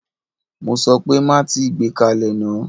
Mo sọ pé má tíì gbé kalẹ̀ náà!